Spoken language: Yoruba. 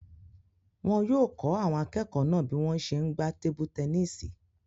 Wọn yóò kọ́ àwọn akẹ́kọ̀ọ́ náà bí wọ́n ṣe n gbá tebu-tẹnísì